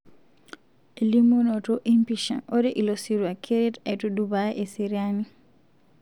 Elimunoto empisha ,ore ilosirua keret aitudupaa eseriani.